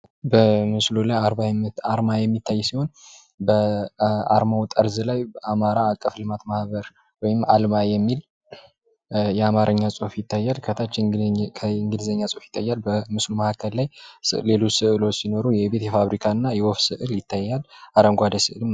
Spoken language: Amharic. በምስሉ ላይ አርማ የሚታይ ሲሆን ምስሉ ጠርዝ ላይ አልማ ወይም አማራ አቀፍ ልማት ማህበር የሚል የአማርኛ ጽህፍ ይታያል ከታች የእንግሊዘኛ ጽሁፍ ይታያል ከምስሉ መካከል ሌሎች ምስሎች የቤት፣ የፋብሪካ እና የወፍ ስእል ይታያል።